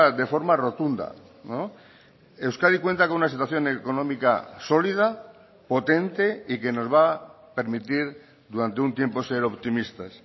de forma rotunda euskadi cuenta con una situación económica sólida potente y que nos va a permitir durante un tiempo ser optimistas